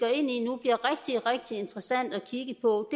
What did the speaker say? rigtig interessant at kigge på